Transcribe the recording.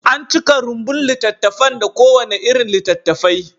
An cika rumbun littattafan da kowane irin littattafai.